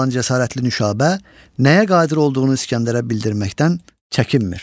olan cəsarətli Nüşabə nəyə qadir olduğunu İskəndərə bildirməkdən çəkinmir.